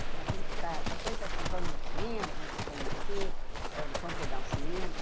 Então, a gente para... Qualquer coisa assim, vamos no cinema, vamos nos conhecer, vamos vamos pegar um cinema.